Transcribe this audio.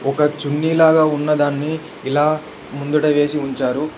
ఒక చున్ని లాగ ఉన్నదాన్ని ఇలా ముందట వేసి ఉంచారు.